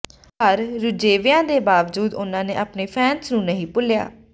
ਪਰ ਰੁਝੇਵਿਆਂ ਦੇ ਬਾਵਜੂਦ ਉਨ੍ਹਾਂ ਨੇ ਆਪਣੇ ਫੈਨਸ ਨੂੰ ਨਹੀਂ ਭੁੱਲਿਆ